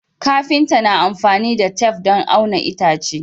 Kafinta na amfani da tef don auna itace